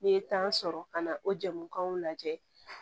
N'i ye tan sɔrɔ ka na o jamuw lajɛ